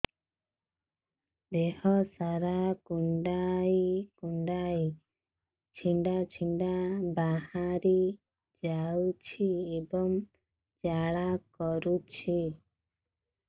ଦେହ ସାରା କୁଣ୍ଡେଇ କୁଣ୍ଡେଇ ଛେଡ଼ା ଛେଡ଼ା ବାହାରି ଯାଉଛି ଏବଂ ଜ୍ୱାଳା କରୁଛି